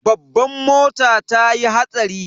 Babban mota tayi hatsari.